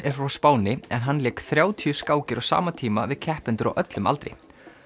er frá Spáni en hann lék þrjátíu skákir á sama tíma við keppendur á öllum aldri